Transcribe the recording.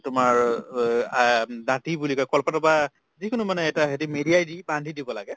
এই তোমাৰ অব আ বুলি কই কলপাতৰ পাই যিকোনো মানে এটা হেৰি মেৰিয়াই দি বান্ধি দিব লাগে